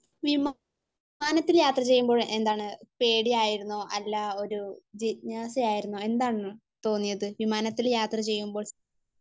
വിമാനത്തിൽ യാത്ര ചെയ്യുമ്പോൾ എന്താണ് പേടിയായിരുന്നോ അല്ല ഒരു ജിജ്ഞാസ ആയിരുന്നോ എന്തായിരുന്നു തോന്നിയത്?. വിമാനത്തിൽ യാത്ര ചെയ്യുമ്പോൾ?